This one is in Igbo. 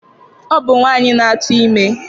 Ọ bụ nwaanyị na-atụ ime